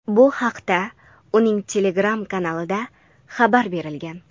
Bu haqda uning Telegram kanalida xabar berilgan.